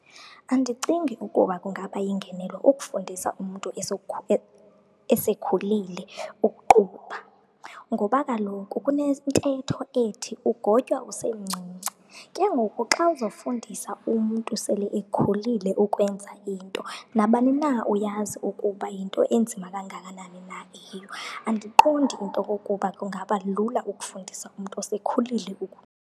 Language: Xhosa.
Andicingi ukuba kungaba yingenelo ukufundisa umntu esekhulile ukuqubha ngoba kaloku kunentetho ethi ugotywa usemncinci. Ke ngoku xa uzawufundisa umntu sele ekhulile ukwenza into, nabani na uyazi ukuba yinto enzima kangakanani na eyiyo. Andiqondi into kokuba kungaba lula ukufundisa umntu osekhulile .